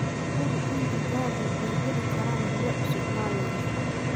Hubi in digaaggu ay heli karaan biyo cusub maalin kasta.